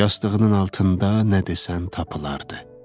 Yastığının altında nə desən tapılardı.